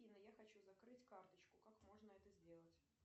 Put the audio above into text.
афина я хочу закрыть карточку как можно это сделать